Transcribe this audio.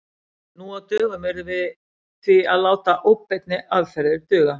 Nú á dögum yrðum við því að láta óbeinni aðferðir duga.